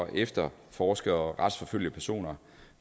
efterforske og retsforfølge personer